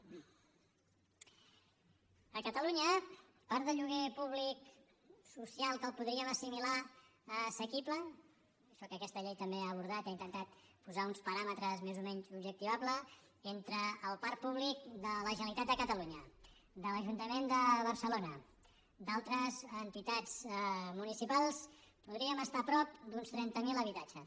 a catalunya part del lloguer públic social que el podríem assimilar a assequible això que aquesta llei també ha abordat i ha intentat posarhi uns paràmetres més o menys objectivables entre el parc públic de la generalitat de catalunya de l’ajuntament de barcelona d’altres entitats municipals podríem estar a prop d’uns trenta mil habitatges